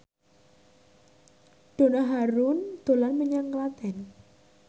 Donna Harun dolan menyang Klaten